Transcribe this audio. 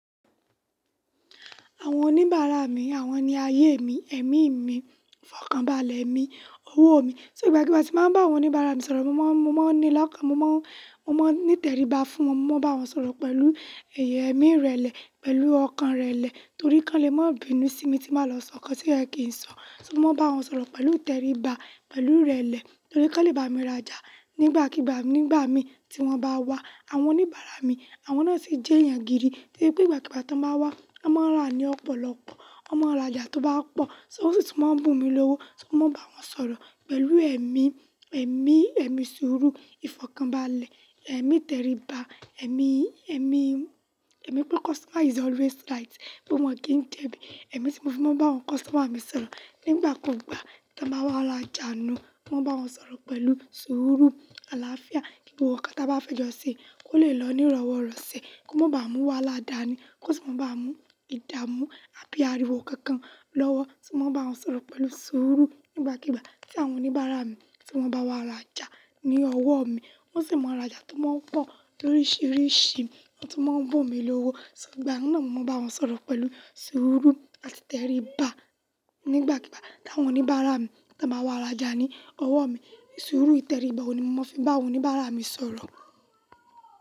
Àwọn oníbàárà mi, àwọn ni ayé mi, ẹ̀mí mi, ìfọ̀kànbalẹ̀ mi, owó mi. Ti ìgbàkígbà tí mo bá ń bá àwọn oníbàárà mi sọ̀rọ̀, mo máa ń ni lọ́kàn, mo máa ń ní tẹríba fún wọn, mo máa ń bá wọn sọ̀rọ̀ pẹ̀lú èmi rẹlẹ̀, pẹ̀lú ọkàn rẹlẹ̀ torí kan lè má bínú sí mi tí n ba lọ sọ nǹkan tí o ye kì ń sọ. To mo máa ń bá wọn sọ̀rọ̀ pẹ̀lú tẹríba, pẹ̀lú irẹlẹ̀ torí kan lè bá mi rajà nígbàkígbà nígbà mi tí wọ́n bá wá. Àwọn oníbàárà mi, àwọn náà sì jẹ́ èèyàn gidi to ye pé nìgbàkígbà tí wọ́n bá wá, wọ́n máa ń rà ní ọ̀pọ̀lọpọ̀, wọ́n máa ń rajà tó bá pọ̀, so, wọ́n sì tún máa ń bùn mí lówó, ti mo máa ń bá wọn sọ̀rọ̀ pẹ̀lú ẹ̀mí, ẹ̀mí, ẹ̀mí sùúrù, ìfọ̀kànbalẹ̀, ẹ̀mí tẹríba, ẹ̀mí, ẹ̀mí, ẹ̀mí pé customer is always right bí wọ́n kì ń jẹbí. Ẹ̀mí si mo fi máa ń bá àwọn customer mi sọ̀rọ̀ nígbà kugbà tí wọ́n bá wá rajà nu un, mo máa n ba wọn sọ̀rọ̀ pẹ̀lú sùúrù, àlàáfíà, kí gbogbo nǹkan tí a bá fẹ́ jọ ṣe kó lè lọ ní ìrọ̀wọ́rọ̀sẹ̀, kó má ba à mú wáhala da ni, kó sì má ba à mú ìdààmú àbí ariwo kankan lọ́wọ́. Ti mo máa ń bá wọn sọ̀rọ̀ pẹ̀lú sùúrù nígbàkígbà tí àwọn oníbàárà mi tí wọ́n bá wa rajà ni ọwọ́ mi. Wọ́n sì máa ń rajà tó máa ń pọ̀ toríṣiríṣi, wọn tún n máa ń bùn mí lówó. So, ìgbà ná ni mo máa n ba won sọ̀rọ̀ pẹ̀lú sùúrù àti ìtẹríba nígbàkígbà tí àwọn oníbàárà mi tí wọ́n bá wá rajà ní ọwọ́ mi. Sùúrù, ìtẹríba ohun ni mo fi máa ń bá àwọn oníbàárà mi sọ̀rọ̀.